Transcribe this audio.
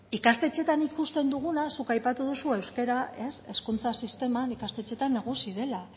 ikastetxeetan ikusten duguna zuk aipatu duzu euskara hezkuntza sisteman ikastetxeetan nagusi dela